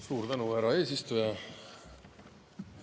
Suur tänu, härra eesistuja!